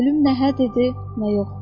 Pülüm nə hər idi, nə yox.